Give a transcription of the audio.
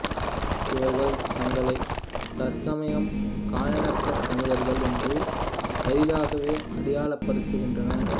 இவர்கள் தங்களை தற்சமயம் கயானாத் தமிழர்கள் என்று அரிதாகவே அடையாளப்படுத்துகின்றனர்